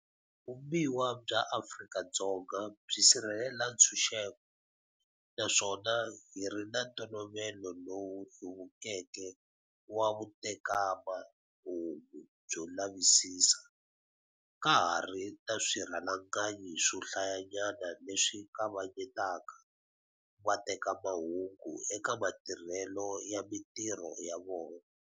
Vumbiwa bya Afrika-Dzonga byi sirhelela ntshunxeko, na swona hi ri na ntolovelo lowu hluvukeke wa vutekamahungu byo lavisisa, ka ha ri ni swirhalanganyi swo hlayanyana leswi kavanye taka vatekamahungu eka matirhelo ya mitirho ya vona.